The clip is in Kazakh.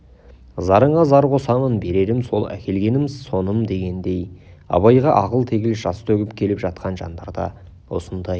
зарыңа зар қосамын берерім сол әкелгенім соным дегендей абайға ағыл-тегіл жас төгіп келіп жатқан жандарда осындай